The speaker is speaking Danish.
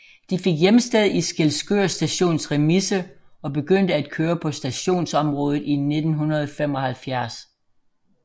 De fik hjemsted i Skælskør Stations remise og begyndte at køre på stationsområdet i 1975